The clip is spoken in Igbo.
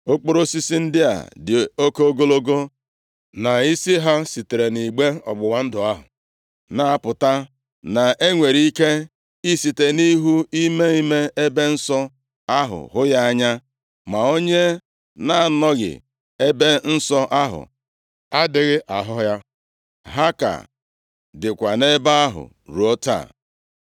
Okporo osisi ndị a dị oke ogologo, na isi ha sitere nʼigbe ọgbụgba ndụ ahụ na-apụta, na e nwere ike ị site nʼihu ime ime ebe nsọ ahụ hụ ha anya, ma onye na-anọghị nʼEbe Nsọ ahụ adịghị ahụ ha. Ha ka dịkwa nʼebe ahụ ruo taa